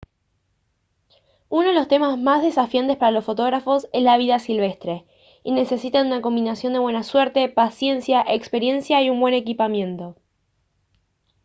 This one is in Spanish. uno de los temas más desafiantes para los fotógrafos es la vida silvestre y necesitan una combinación de buena suerte paciencia experiencia y un buen equipamiento